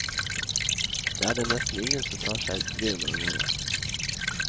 Det er det nesten ingen som tar seg bryet med å gjøre.